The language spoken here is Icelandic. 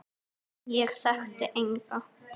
Ég þekkti enga.